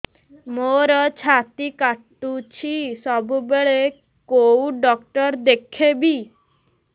ମୋର ଛାତି କଟୁଛି ସବୁବେଳେ କୋଉ ଡକ୍ଟର ଦେଖେବି